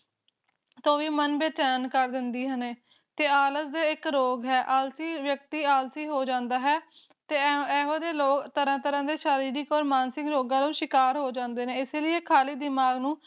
ਹੋਵੇ ਮਨ ਬੇਚੈਨ ਕਰ ਦਿੰਦੀ ਨੇ ਤੇ ਆਲਸ ਰੋਗ ਹੈ ਆਲਸੀ ਵਿਅਕਤੀ ਆਲਸੀ ਹੋ ਜਾਂਦਾ ਹੈ ਤੇ ਐਹੋ ਜਿਹੇ ਲੋਕ ਤਰਾਂ ਤਰਾਂ ਦੇ ਸਰੀਰਕ ਤੇ ਮਾਨਸਿਕ ਰੋਗਾਂ ਦੇ ਸ਼ਿਕਾਰ ਹੋ ਜਾਂਦੇ ਨੇ ਇਸੇ ਲੀਏ ਖਾਲੀ ਦਿਮਾਗ ਨੂੰ